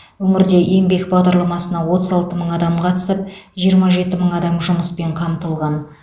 өңірде еңбек бағдарламасына отыз алты мың адам қатысып жиырма жеті мың адам жұмыспен қамтылған